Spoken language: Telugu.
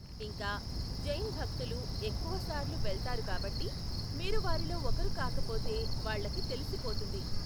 ఇంకా, జైన్ భక్తులు ఎక్కువ సార్లు వెళ్తారు కాబట్టి మీరు వారిలో ఒకరు కాకపోతే వాళ్ళకి తెలిసిపోతుంది.